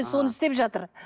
соны істеп жатыр